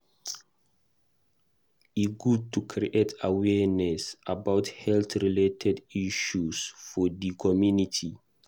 E good to create awareness about heat-related health issues for di community.